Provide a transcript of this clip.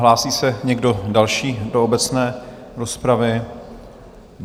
Hlásí se někdo další do obecné rozpravy?